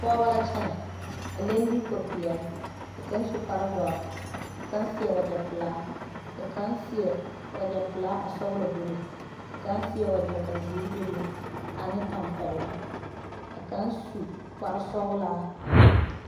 pɔgeba la kyɛne a leŋ deko pɛɛle ka kaŋ su kpare doɔre. ka kaŋ seɛ wagyɛ pelaa ka kaŋ seɛ wagyɛ pelaa ka sɔglɔ bebe ka kaŋ seɛ wagyɛ ka zeɛre bebe ane tampɛloŋ ka kaŋ. su kpare sɔglaa.